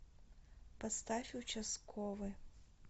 поставь участковый